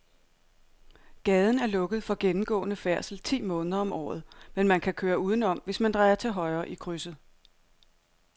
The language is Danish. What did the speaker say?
Gaden er lukket for gennemgående færdsel ti måneder om året, men man kan køre udenom, hvis man drejer til højre i krydset.